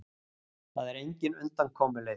Það er engin undankomuleið.